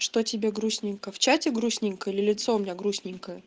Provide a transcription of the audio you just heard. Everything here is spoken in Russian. что тебе грустненько в чате грустненько или лицо у меня грустненькое